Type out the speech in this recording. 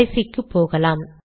கடைசிக்கு போகலாம்